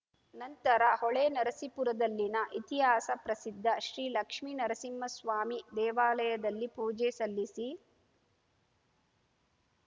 ನಂತರ ಹೊಳೆನರಸೀಪುರದಲ್ಲಿನ ಇತಿಹಾಸ ಪ್ರಸಿದ್ಧ ಶ್ರೀ ಲಕ್ಷ್ಮಿ ನರಸಿಂಹಸ್ವಾಮಿ ದೇವಾಲಯದಲ್ಲಿ ಪೂಜೆ ಸಲ್ಲಿಸಿ